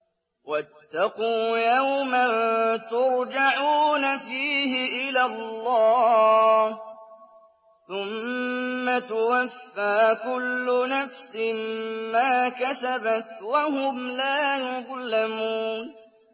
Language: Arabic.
وَاتَّقُوا يَوْمًا تُرْجَعُونَ فِيهِ إِلَى اللَّهِ ۖ ثُمَّ تُوَفَّىٰ كُلُّ نَفْسٍ مَّا كَسَبَتْ وَهُمْ لَا يُظْلَمُونَ